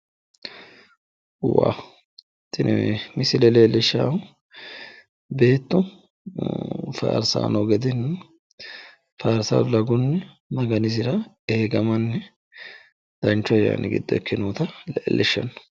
waha tini misile leellishshaahu beettu faarsanni noo gedenna farsa ragunni maganisira eegamanni danchu ayyani giddo ikke noota leellishshanno.